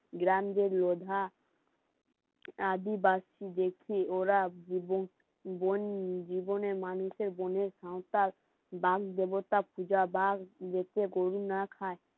গ্রাম যে লোধা আদিবাসী দেখি ওরা বোন জীবনে মানুষের মনের সাঁওতাল বামদেবতা পূজা বাঁশ দিয়েছে গরু না খায়